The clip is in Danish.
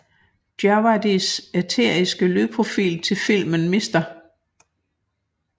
Djawadis æteriske lydprofil til filmen Mr